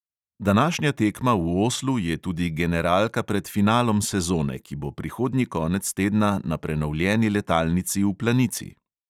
Današnja tekma v oslu je tudi generalka pred finalom sezone, ki bo prihodnji konec tedna na prenovljeni letalnici v planici.